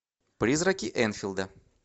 призраки энфилда